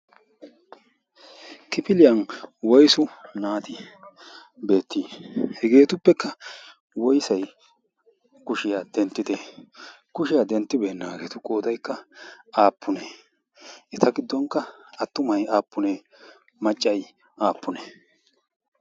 kifiliyan woisu naati beettii? hegeetuppekka woisai kushiyaa denttite kushiyaa denttibeene? naageetu qoodaikka aappunee? eta giddonkka attumai aappunee? maccai aappune?